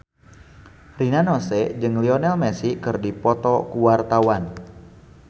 Rina Nose jeung Lionel Messi keur dipoto ku wartawan